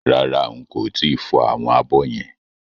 Rárá n kò tíì fọ àwọn abọ́ yẹn